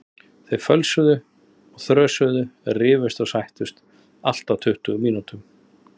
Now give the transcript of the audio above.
Þau fjösuðu og þrösuðu, rifust og sættust, allt á tuttugu mínútum.